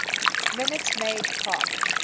minute maid park